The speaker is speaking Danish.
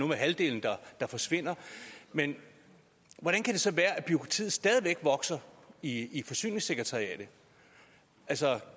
med halvdelen der forsvinder men hvordan kan det så være at bureaukratiet stadig væk vokser i i forsyningssekretariatet altså